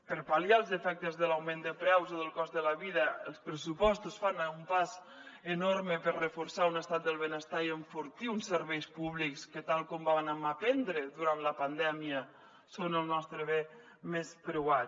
per pal·liar els efectes de l’augment de preus o del cost de la vida els pressupostos fan un pas enorme per reforçar un estat del benestar i enfortir uns serveis públics que tal com vàrem aprendre durant la pandèmia són el nostre bé més preuat